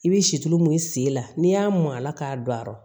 I bɛ situlu mun sen la n'i y'a mɔn a la k'a don a la